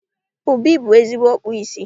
Obi bụ ezigbo ọkpụ isi